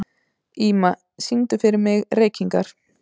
Ýma, syngdu fyrir mig „Reykingar“.